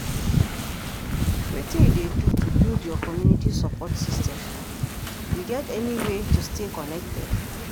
Wetin you dey do to build your community support system, you get any way tostay connected?